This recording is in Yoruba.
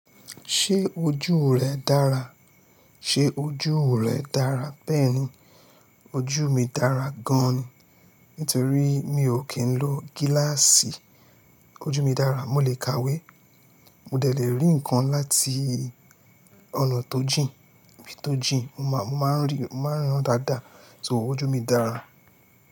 Ṣé ojú rẹ dára? Ṣé ojú rẹ dára bẹ́ẹ̀ni, ojú mi dára gan ni. Nítorí mi ò kí ń lo gíláàsì. Ojú mi dára, mo le è kàwé, mo dè lè rí ǹkan láti ọ̀nà tó jìn, ibí tó jìn, máa ń ríran dáadáa. So ojú mi dára.